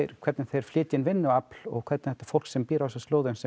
hvernig þeir flytja inn vinnuafl og hvernig þetta fólk sem býr á þessum slóðum sem